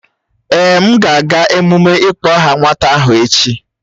Èè, m ga-aga emume ịkpọ aha nwata ahụ echi